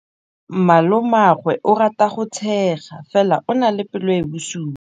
Malomagwe o rata go tshega fela o na le pelo e e bosula.